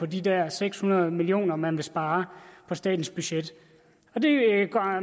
de der seks hundrede million kr man vil spare på statens budget